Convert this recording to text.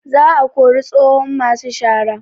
Za a kori tsohon masu shara